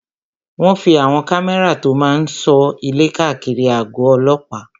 Wọ́n fí àwọn kámẹ́rà tó máa n sọ ilé káàkiri àgọ̀ ọlọ́pàá